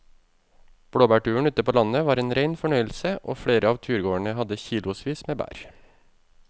Blåbærturen ute på landet var en rein fornøyelse og flere av turgåerene hadde kilosvis med bær.